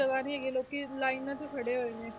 ਜਗ੍ਹਾ ਨੀ ਹੈਗੀ ਲੋਕੀ ਲਾਇਨਾਂ 'ਚ ਖੜੇ ਹੋਏ ਨੇ,